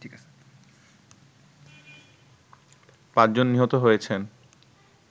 ৫ জন নিহত হয়েছেন